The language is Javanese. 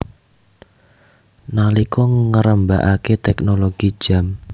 Nalika ngrembakake teknologi jam